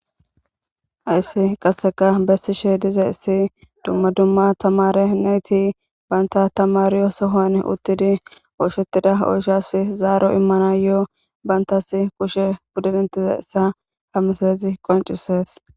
Hayssi qasseka bessishe dizayssi dumma dumma tamare nayti banta tamaryo sohon uttidi oyshettida oyshas zaaro immanayo bantas kushe pudetizayssa ha misalezi qoncisees.